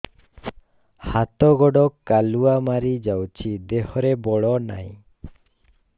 ହାତ ଗୋଡ଼ କାଲୁଆ ମାରି ଯାଉଛି ଦେହରେ ବଳ ନାହିଁ